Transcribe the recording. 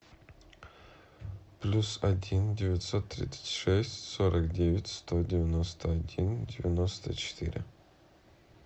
плюс один девятьсот тридцать шесть сорок девять сто девяносто один девяносто четыре